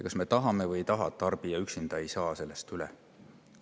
Kas me tahame või ei taha, aga tarbija üksi.